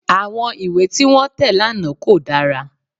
Àwọn ìwé tí wọ́n tẹ̀ lánàá kò dára